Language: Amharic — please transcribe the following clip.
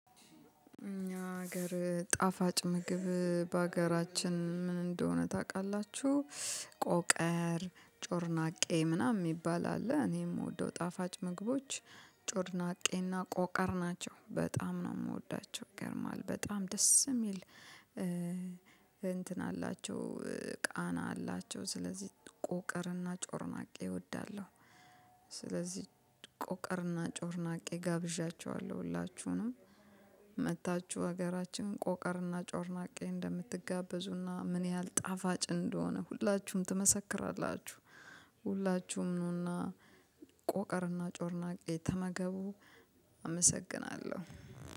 ሀገር ጣፋጭ ምግብ በሀገራችን ምን እንደሆነ ታውቃላችሁ? ጮርናቄ ምናምን የሚባል አለ እኔ የምወደው ጣፋጭ ምግቦች ጮርናቄና ቆቀር ናቸው በጣም ነው የምወዳቸው ይገርማል በጣም ደስ የሚል እንትን አላቸው ቃና አላቸው ስለዚህ ቁቅርና ጮርናቄ እወዳለሁ ስለዚህ ቆቀርና ጮርናቄ ጋብዣቸዋለሁ ሁላችሁንም መጥታችሁ ሀገራችን ቆቀርና ጮርናቄ እንደምትጋበዙና ምን ያህል ጣፋጭ እንደሆነ ሁላችሁም ትመሰክራላችሁ ሁላችሁም ኑና ቆቀርና ጮርናቄ ተመገቡ አመሰግናለሁ